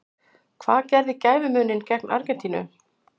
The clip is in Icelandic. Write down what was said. Hvað gerði gæfumuninn gegn Argentínu?